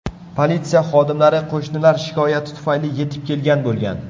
Politsiya xodimlari qo‘shnilar shikoyati tufayli yetib kelgan bo‘lgan.